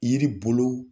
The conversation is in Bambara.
Yiri bolo